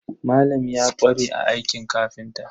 Malam ya ƙware a aikin kafinta.